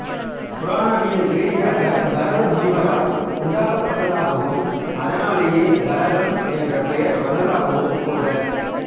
புராணவியல் ரீதியாக பரதமுனிவரால் உண்டாக்கப்பட்டதாகவும் அதனாலேயெ பரதம் என்ற பெயர் வந்ததாகவும் கூறுவர்